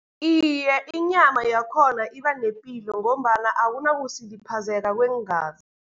Iye, inyama yakhona iba nepilo, ngombana akunakusiliphazeka kweengazi.